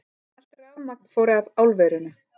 Allt rafmagn fór af álverinu